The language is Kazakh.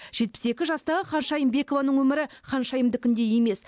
жетпіс екі жастағы ханшайым бекованың өмірі ханшайымдікіндей емес